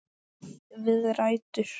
Við rætur